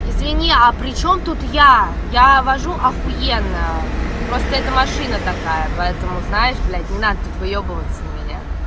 извини а причём тут я я вожу ахуенно просто это машина такая поэтому знает блядь не надо тут выёбываться на меня